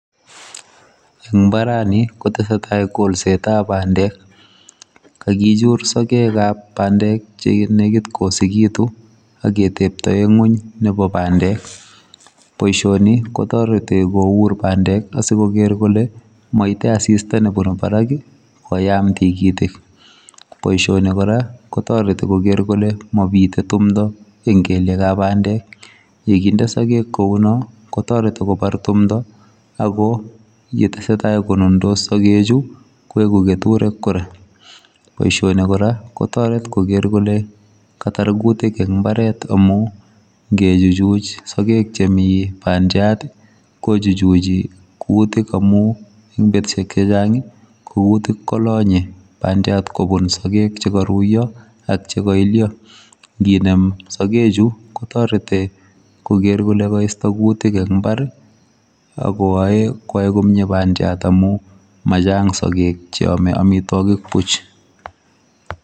En imbarani kotesetai kolset tab pandek kakichur sokek kab pandek chenekit koyosekitun aketeptoe ngweny nebo pandek. Boishoni kotoreti kour pandek asikoker kole koite asista nebunu barak kii koyam tikitik, boishoni Koraa kotoretin koker kole mopite tumpto en kelyek ab pandek yekinde sokek kounon kotoreti kobar tumpto ako yetesetai konundos sokochuu Koraa koiku keturek Koraa. Boishoni Koraa kotoret koker kole Katar kutik en imbaret amun ngejuchuch sokek chemii pandiat tii kochuchuchi kutik aim en betushek chechangi ko kutik kolonye pandiat kobun sokek chekoruyo ak cheko ilyo nkinem sokek chuu kotoreti koker kole koisto kutik en imbari akoyoe koyai komie pandiat amun machang sokek cheome omitwokik buch.